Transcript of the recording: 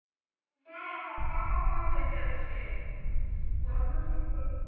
সব ফাঁকা ফাঁকা হয়ে গেছে